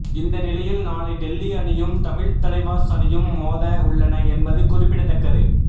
இந்த நிலையில் நாளை டெல்லி அணியும் தமிழ் தலைவாஸ் அணியும் மோத உள்ளன என்பது குறிப்பிடத்தக்கது